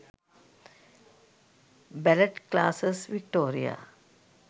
ballet classes victoria